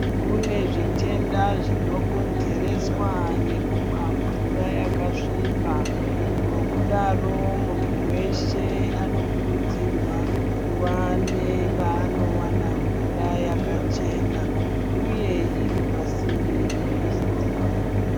Kune zvitenda zvinokonzereswa ngekumwa mvura yakasvipa. Ngokudaro muntu weshe anokurudzirwa kuva nepaanowana mvura yakachena uye iri pasinde nemizi dzavo.